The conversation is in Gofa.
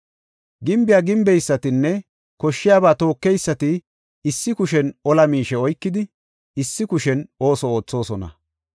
gimbiya gimbeysatinne koshshiyaba tookeysati issi kushen ola miishe oykidi, issi kushen ooso oothosona.